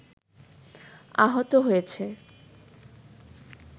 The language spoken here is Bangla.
আহত হয়েছে